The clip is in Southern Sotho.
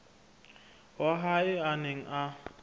wa hae a neng a